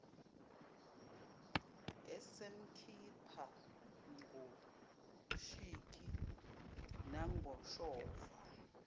esemkhipha ngoshiki nangoshova